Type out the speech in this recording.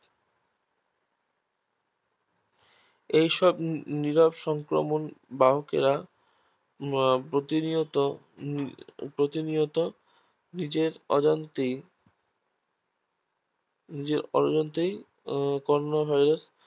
এইসব নিরব সংক্রমক বাহকেরা প্রতিনিয়ত প্রতিনিয়ত নিজের প্রতিনিয়ত নিজের অজান্তেই প্রতিনিয়ত নিজের অজান্তেই করোনা Virus